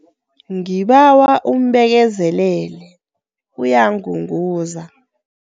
Ngibawa umbekezelele, uyangunguza.